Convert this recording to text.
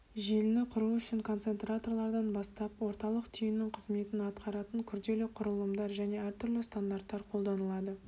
желіні құру үшін концентраторлардан бастап орталық түйіннің қызметін атқаратын күрделі құрылымдар және әртүрлі стандарттар қолданылады